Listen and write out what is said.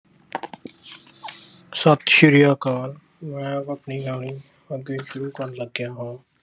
ਸਤਿ ਸ੍ਰੀ ਅਕਾਲ। ਮੈਂ ਆਪਣੀ ਕਹਾਣੀ ਅੱਗੇ ਸ਼ੁਰੂ ਕਰਨ ਲੱਗਿਆ ਹਾਂ।